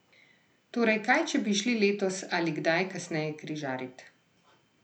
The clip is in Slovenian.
Torej, kaj, če bi šli letos ali kdaj kasneje križarit?